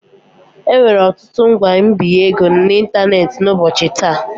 Enwere ọtụtụ ngwa mbinye ego n'ịntanetị n'ụbọchị taa.